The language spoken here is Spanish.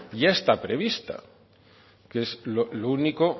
ya está prevista que es lo único